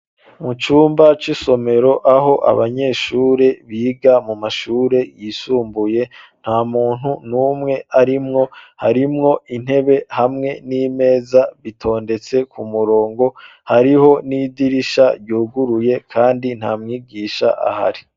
Mu cumba c'isomero aho abanyeshure biga mu mashure yisumbuye, nta muntu n'umwe arimwo, harimwo intebe n'imeza bitondetse ku murongo hariho n'idirisha ryuguruye kandi nta mwigisha ahari.